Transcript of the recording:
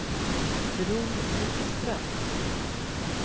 Bror Vikström